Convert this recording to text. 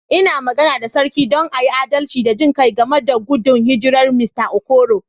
N'na magana da sarki don a yi adalci da jin kai game da gudun hijirar Mista Okoro.